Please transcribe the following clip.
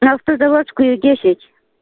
на автозаводская десять